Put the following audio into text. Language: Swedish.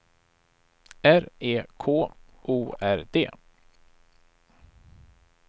R E K O R D